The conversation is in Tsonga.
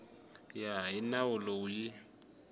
ya hi nawu lowu yi